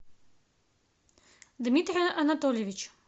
дмитрий анатольевич